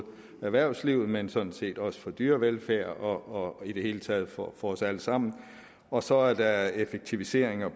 erhvervslivet men sådan set også for dyrevelfærd og i det hele taget for os alle sammen og så er der effektiviseringer